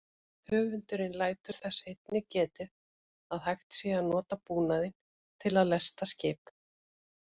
Höfundurinn lætur þess einnig getið að hægt sé að nota búnaðinn til að lesta skip.